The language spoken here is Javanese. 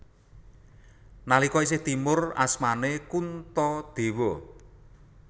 Nalika isih timur asmané Kuntadewa